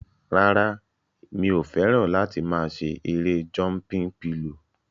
Rárá, mi ò fẹ́ràn láti máa ṣe erée jọmpin pilò